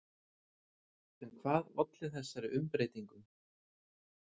En hvað olli þessari umbreytingu?